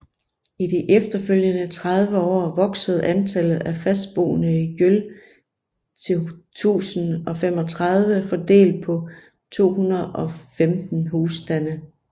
I de efterfølgende 30 år voksede antallet af fastboende i Gjøl til 1035 fordelt på 215 husstande